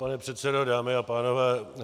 Pane předsedo, dámy a pánové.